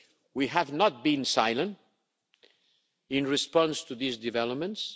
We have not been silent in response to these developments